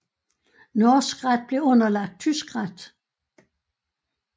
Norsk ret blev underlagt tysk ret